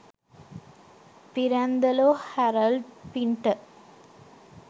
Pirandello Harold printer